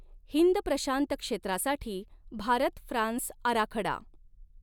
हिंद प्रशांत क्षेत्रासाठी भारत फ्रान्स आराखडा